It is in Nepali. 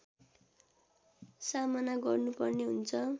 सामना गर्नुपर्ने हुन्छ